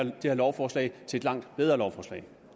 lovforslag til et langt bedre lovforslag